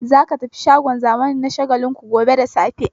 Za ka tafi shagon zamani na Shagalinku gobe da safe!